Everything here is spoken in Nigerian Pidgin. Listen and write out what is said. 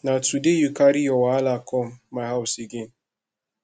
na today you carry your wahala come my house again